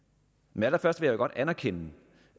men allerførst vil jeg da godt anerkende